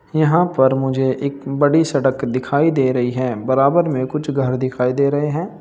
यहां पर मुझे एक बड़ी सड़क दिखाई दे रही है बराबर में कुछ घर दिखाई दे रहे हैं।